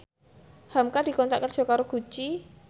hamka dikontrak kerja karo Gucci